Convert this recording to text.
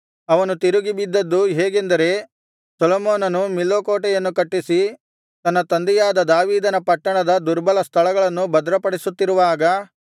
ಅವನು ತಿರುಗಿ ಬಿದ್ದದ್ದು ಹೇಗೆಂದರೆ ಸೊಲೊಮೋನನು ಮಿಲ್ಲೋ ಕೋಟೆಯನ್ನು ಕಟ್ಟಿಸಿ ತನ್ನ ತಂದೆಯಾದ ದಾವೀದನ ಪಟ್ಟಣದ ದುರ್ಬಲ ಸ್ಥಳಗಳನ್ನು ಭದ್ರಪಡಿಸುತ್ತಿರುವಾಗ